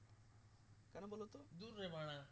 ধুর রে বাড়া